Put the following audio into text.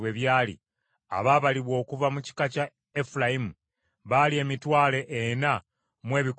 Abaabalibwa okuva mu kika kya Efulayimu baali emitwalo ena mu ebikumi bitaano (40,500).